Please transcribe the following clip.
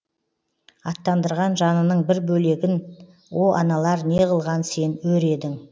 аттандырған жанының бір бөлегін о аналар неғылған сен өр едің